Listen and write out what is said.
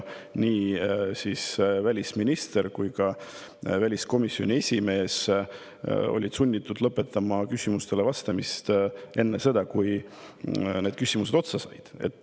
Nii välisminister kui ka väliskomisjoni esimees olid sunnitud lõpetama küsimustele vastamise enne, kui küsimused otsa said.